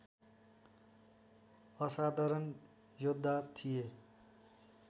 असाधारण योद्धा थिए